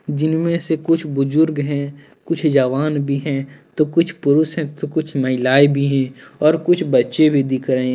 जिनमे से कुछ बुजुर्ग है कुछ जवान भी हैं तो कुछ पुरुष है तो कुछ महिलाएं भी हैं और कुछ बच्चे भी दिख रहे हैं।